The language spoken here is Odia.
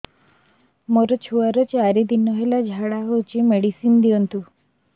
ମୋର ଛୁଆର ଚାରି ଦିନ ହେଲା ଝାଡା ହଉଚି ମେଡିସିନ ଦିଅନ୍ତୁ